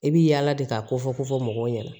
I bi yaala de ka kofɔ kofɔ fɔ mɔgɔw ɲɛna